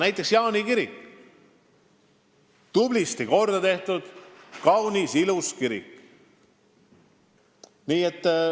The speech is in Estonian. Näiteks on Jaani kirik tublisti korda tehtud, kaunis, ilus kirik.